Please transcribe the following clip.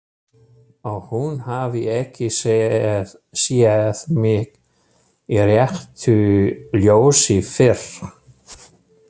Og hún hafi ekki séð mig í réttu ljósi fyrr.